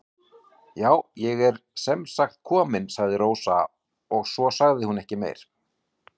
Já, ég er sem sagt komin, sagði Rósa og svo sagði hún ekki meira.